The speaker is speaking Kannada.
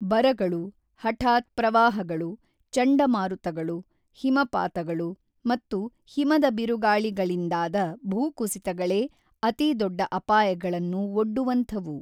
ಬರಗಳು, ಹಟಾತ್‌ ಪ್ರವಾಹಗಳು, ಚಂಡಮಾರುತಗಳು, ಹಿಮಪಾತಗಳು, ಮತ್ತು ಹಿಮದ ಬಿರುಗಾಳಿಗಳಿಂದಾದ ಭೂಕುಸಿತಗಳೇ ಅತಿ ದೊಡ್ಡ ಅಪಾಯಗಳನ್ನು ಒಡ್ಡುವಂಥವು.